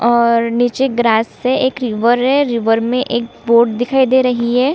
और नीचे ग्रास है एक रिवर है रिवर में एक बोट दिखाई दे रही हैं।